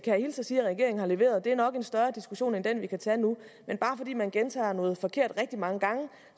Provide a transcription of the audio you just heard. jeg hilse og sige at regeringen har leveret det er nok en større diskussion end den vi kan tage nu men bare fordi man gentager noget forkert rigtig mange gange